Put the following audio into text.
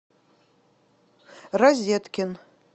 розеткин